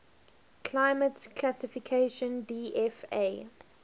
climate classification dfa